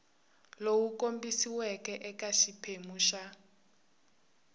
lowu kombisiweke eka xiphemu xa